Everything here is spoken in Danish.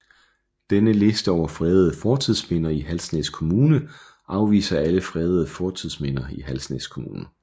Denne liste over fredede fortidsminder i Halsnæs Kommune viser alle fredede fortidsminder i Halsnæs Kommune